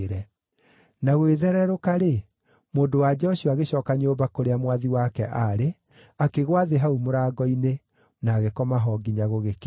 Na gũgĩthererũka-rĩ, mũndũ-wa-nja ũcio agĩcooka nyũmba kũrĩa mwathi wake aarĩ, akĩgũa thĩ hau mũrango-inĩ, na agĩkoma ho nginya gũgĩkĩa.